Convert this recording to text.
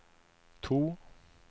to